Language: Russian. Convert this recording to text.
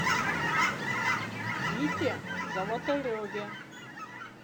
вите золотареве